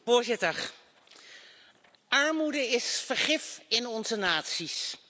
Voorzitter, armoede is vergif in onze naties.